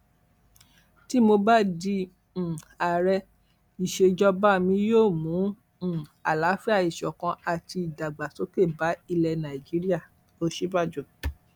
tí mo bá di um ààrẹ ìsejọba mi yóò mú um àlàáfíà ìṣọkan àti ìdàgbàsókè bá ilẹ nàíjíríàòsínbàjò